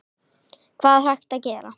Hvað er hægt að gera?